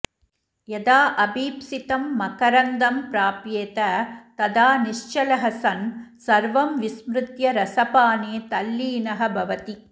यदा अभीप्सितं मकरन्दं प्राप्येत तदा निश्चलः सन् सर्वं विस्मृत्य रसपाने तल्लीनः भवति